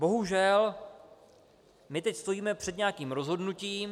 Bohužel, my teď stojíme před nějakým rozhodnutím.